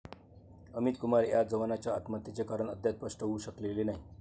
अमित कुमार या जवानाच्या आत्महत्येचे कारण अद्याप स्पष्ट होऊ शकलेले नाही.